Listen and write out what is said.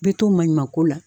Be to maɲuman ko la